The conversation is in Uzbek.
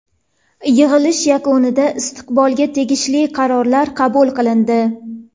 Yig‘ilish yakunida istiqbolga tegishli qarorlar qabul qilindi.